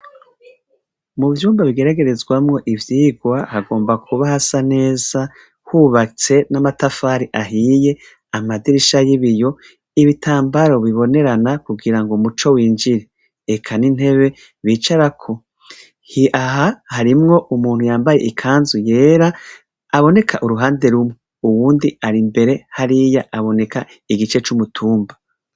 Muvyumba bigeragerezwamwo ivyirwa hagomba kuba hasa neza hubatse namatafari ahiye amadirisha yibiyo ibitambara bibonerana kugirango umuco winjira eka nintebe bicarako aha harimwo umuntu yambaye ikanzu yera aboneka uruhande rumwe uwundi ari imbere hariya aboneka igice cumutumba